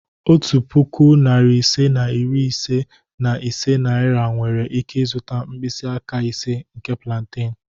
Otu puku, narị ise na iri ise na ise naira nwere ike zụta mkpịsị aka ise nke plantain.